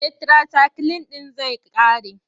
Tetirasayikilin ɗin zai ƙare.